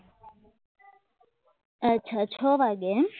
અછા છ વાગે એમ